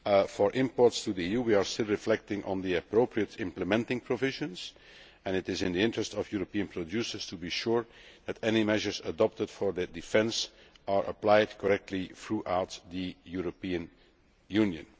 For imports to the EU, we are still reflecting on the appropriate implementing provisions and it is in the interest of European producers to be sure that any measures adopted for their defence are applied correctly throughout the European Union.